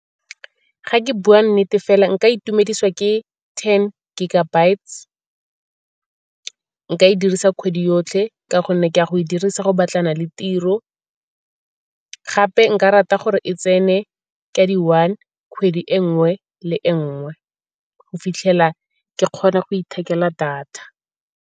Fa ke bua nnete fela nka itumedisa ke ten gigabytes, nka e dirisa kgwedi yotlhe ka gonne ke ya go e dirisa go batlana le tiro. Gape nka rata gore e tsene ka di-one kgwedi e nngwe le e nngwe go fitlhela ke kgona go ithekela data.